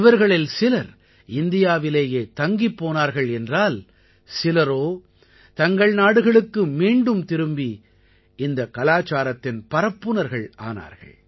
இவர்களில் சிலர் இந்தியாவிலேயே தங்கிப் போனார்கள் என்றால் சிலரோ தங்கள் நாடுகளுக்கு மீண்டும் திரும்பி இந்தக் கலாச்சாரத்தின் பரப்புநர்கள் ஆனார்கள்